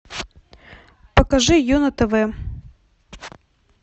покажи ю на тв